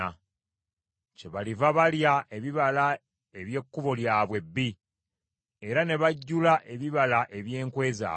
Kyebaliva balya ebibala eby’ekkubo lyabwe ebbi, era ne bajjula ebibala eby’enkwe zaabwe.